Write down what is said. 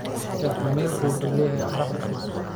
Cake vaniljku wuxuu leeyahay caraf udgoon.